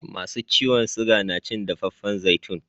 Masu ciwon siga na cin dafaffan zaitun